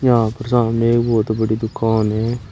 यहां सामने बहुत बड़ी दुकान है।